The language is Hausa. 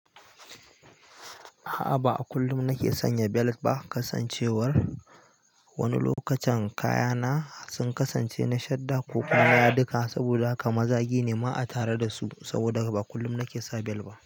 A'a, ba kullum nake sanya belet ba. Kasancewar wani lokacin kayana sun kasance na shadda ko kuma na yadika saboda haka mazagi ne ma a tare da su saboda ba kullum nake sa bel ba.